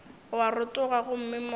o a rotoga gomme moya